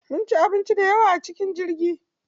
Mun ci abinci dayawa a cikin jirgi.